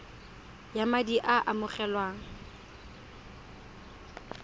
ya madi a a amogelwang